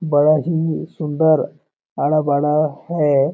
बड़ा ही सुन्दर आड़ा-बाड़ा है।